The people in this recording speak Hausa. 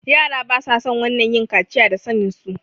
yara basason wannan yin kaciya da sanen su